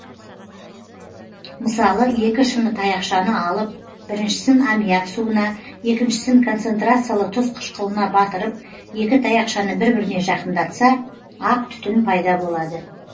мысалы екі шыны таяқшаны алып біріншісін аммиак суына екіншісін концентрациялы тұз қыішқылына батырып екі таяқшаны бір біріне жақындатса ақ түтін пайда болады